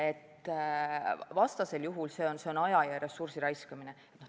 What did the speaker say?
Vastasel juhul on see aja ja ressursi raiskamine.